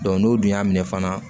n'u dun y'a minɛ fana